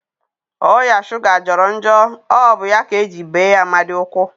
Oya shuga jọrọ njọ, ọ bụ ya ka eji bee Amadi ụkwụ